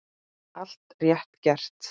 Allt rétt gert.